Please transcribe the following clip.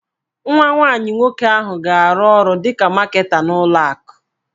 Nwa nwanyị nwoke ahụ ga-arụ ọrụ dịka Maketa n'ụlọ akụ